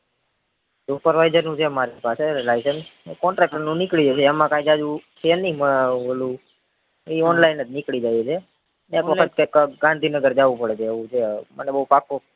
supervisor નું છે મારી પાસે license ને contactor નું નીકળીઅય જાય એમાં કઈ જાજું છે ની ઓલું ઈ online જ નીકળી જાય છે મેં એક વખત ગાંધીનગર જવું પડે એવું છે મને બૌ પાકું